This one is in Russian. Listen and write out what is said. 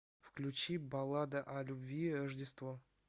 включи баллада о любви рождество